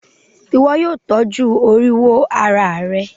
Ìwo yio tọ́jú oríwó ara rẹ